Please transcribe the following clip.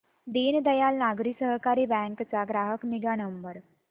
Deendayal Nagari Sahakari bank चा ग्राहक निगा क्रमांक